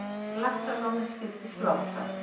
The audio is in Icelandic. Laxalóni skyldi slátrað.